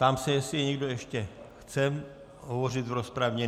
Ptám se, jestli někdo ještě chce hovořit v rozpravě.